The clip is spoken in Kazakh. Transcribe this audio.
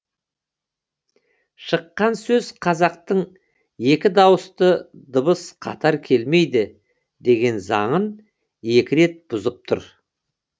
шыққан сөз қазақтың екі дауысты дыбыс қатар келмейді деген заңын екі рет бұзып тұр